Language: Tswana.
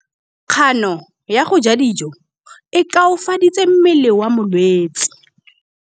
Kganô ya go ja dijo e koafaditse mmele wa molwetse.